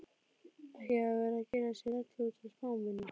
Ekki að vera að gera sér rellu út af smámunum.